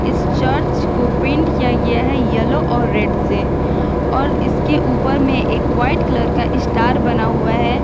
इस चर्च को पेंट किया गया है येलो और रेड से और इसके ऊपर में एक वाइट कलर का स्टार बना हुआ है।